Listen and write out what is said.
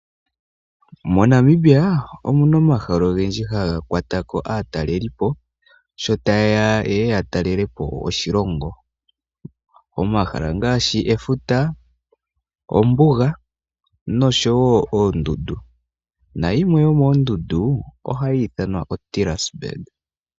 MoNamibia omuna omahala ogendji haga kwatako aatalelipo, sho ta yeya ya talelepo oshilongo. Omahala ngashi efuta, ombuga nosho wo oondundu na yimwe yomoondundu ohayi ithanwa Tilas burg.